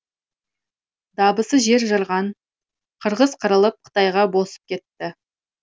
дабысы жер жарған қырғыз қырылып қытайға босып кетті